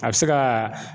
A bɛ se ka